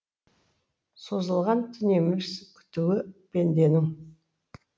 созылған түн емес күтуі пенденің